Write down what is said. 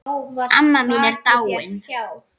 Amma mín er dáin.